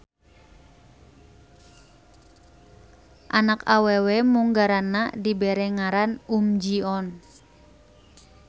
Anak awewe munggaranna dibere ngaran Uhm Ji-on.